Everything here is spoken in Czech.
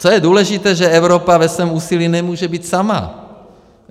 Co je důležité, že Evropa ve svém úsilí nemůže být sama.